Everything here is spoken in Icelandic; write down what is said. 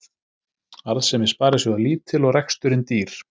Arðsemi sparisjóða lítil og reksturinn dýr